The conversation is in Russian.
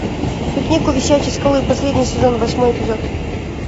пикник у висячей скалы последний сезон восьмой эпизод